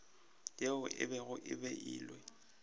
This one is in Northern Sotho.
yeo e bego e beilwe